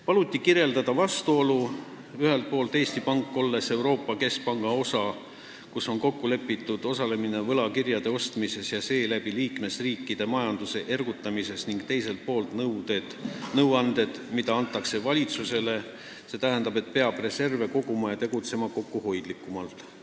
Paluti kirjeldada seda vastuolu, et ühelt poolt on Eesti Pank Euroopa Keskpanga osa, kus on kokku lepitud osalemine võlakirjade ostmises ja seeläbi liikmesriikide majanduse ergutamises, ning teiselt poolt antakse valitsusele nõuandeid, et peab reserve koguma ja kokkuhoidlikumalt tegutsema.